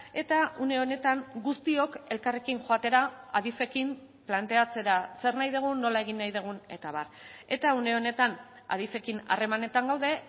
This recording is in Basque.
eta une honetan guztiok elkarrekin joatera adif ekin planteatzera zer nahi dugun nola egin nahi dugun eta abar eta une honetan adif ekin harremanetan gaude